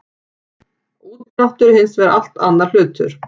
Úrdráttur er hins vegar allt annar hlutur.